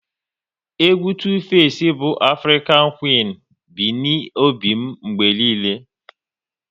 Egwu Tu-face bu Afrịkan Quin bi n'obi m mgbe niile